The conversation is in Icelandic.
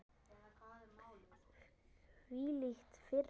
Hvílík firra.